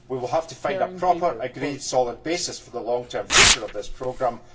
We will have to find a proper, agreed, solid basis for the long term future of this programme.